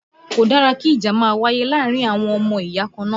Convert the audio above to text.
Kò dára kí ìjà máa wáyé láàárín àwọn ọmọ ìyá kan náà